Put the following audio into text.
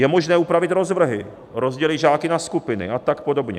Je možné upravit rozvrhy, rozdělit žáky na skupiny a tak podobně.